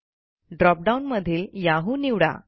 drop down मधील Yahoo निवडा